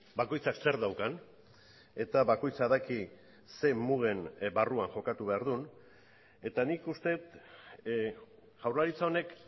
bakoitzak zer daukan eta bakoitzak daki zein mugen barruan jokatu behar duen eta nik uste dut jaurlaritza honek